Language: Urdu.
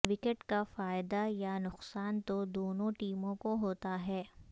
وکٹ کا فائدہ یا نقصان تو دونوں ٹیموں کو ہوتا ہے